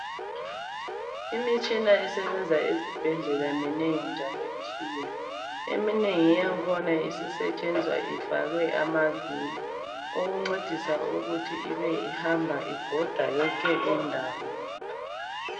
Imitshina esebenza ezibhedlela minengi njalo itshiyene, eminengi yangkhona isisetshenzwa ifakwe amavili okuncedisa ukuthi ibe ihamba ibhoda yonke indawo.